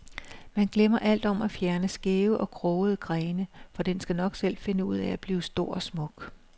Man glemmer alt om at fjerne skæve og krogede grene, for den skal nok selv finde ud af at blive stor og smuk.